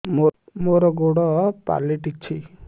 ମୋର ଗୋଡ଼ ପାଲଟିଛି